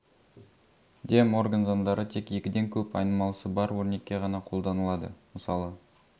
де морган заңдары тек екіден көп айнымалысы бар өрнекке ғана қолданылады мысалы